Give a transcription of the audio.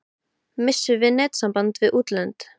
Missum við netsamband við útlönd?